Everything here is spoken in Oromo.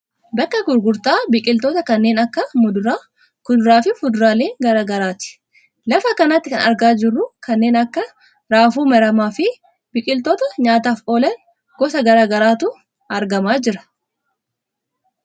Bakka gurgurtaa biqiltoota kanneen akka muduraa, kuduraa fi fuduraalee gara garaa ti. Lafa kanatti kan argaa jirru kanneen akka raafuu maramaa fi biqiltoota nyaataaf oolan gosa gara garaatu argamaa jira.